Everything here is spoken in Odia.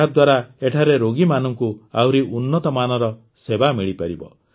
ଏହାଦ୍ୱାରା ଏଠାରେ ରୋଗୀମାନଙ୍କ ଆହୁରି ଉନ୍ନତ ମାନର ସେବା ମିଳିପାରିବ